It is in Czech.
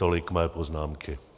Tolik mé poznámky.